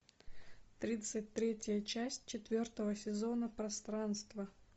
тридцать третья часть четвертого сезона пространство